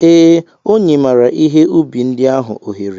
Ee, ọ nyemara ihe ubi ndị ahụ ohere.